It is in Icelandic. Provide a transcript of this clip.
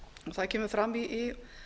það kemur fram í